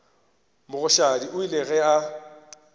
mogoshadi o ile ge a